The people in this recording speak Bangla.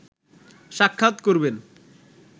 সাক্ষাৎ করবেন